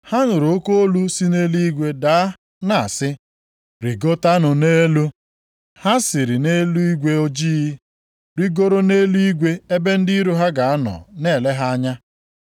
Ha nụrụ oke olu si nʼeluigwe daa na-asị, “rigotanụ nʼelu.” Ha siri nʼigwe ojii, rigoro nʼeluigwe ebe ndị iro ha ga-anọ na-ele ha anya.